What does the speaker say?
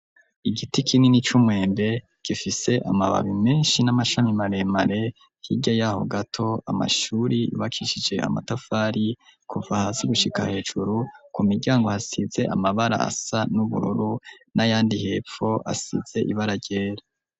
Igiti kinini, c'umwembe, gifise amababi menshi, n'amashami maremare; hirya y'aho gato, amashuri yubakisije amatafari, kuva hasi, gushika hejuru; ku miryango, hasize amabara, asa n'ubururu, n'ayandi hepfo, asize ibara ryera.